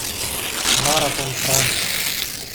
Maraton Franja.